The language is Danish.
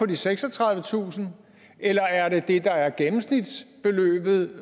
de seksogtredivetusind eller er det det der er gennemsnitsbeløbet